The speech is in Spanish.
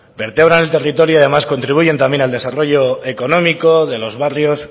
vertebran el territorio y además contribuyen también al desarrollo económico de los barrios